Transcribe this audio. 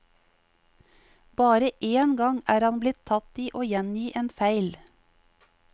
Bare én gang er han blitt tatt i å gjengi en feil.